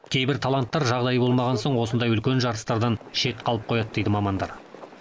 кейбір таланттар жағдайы болмаған соң осындай үлкен жарыстардан шет қалып қояды дейді мамандар